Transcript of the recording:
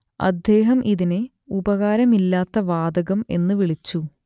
അദ്ദേഹം ഇതിനെ ഉപകാരമില്ലാത്ത വാതകം എന്നു വിളിച്ചു